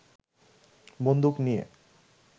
বন্দুক নিয়ে